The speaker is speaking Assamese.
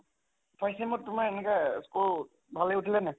first sem ত তোমাৰ এনেকে score ভালে উঠিলে নে?